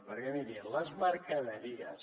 perquè miri les mercaderies